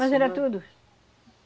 Nós era tudo?